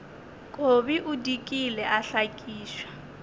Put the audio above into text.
kobi o dikile a hlakišwa